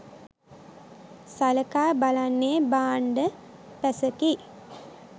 සලකා බලන්නේ 'භාණ්ඩ පැස'කි.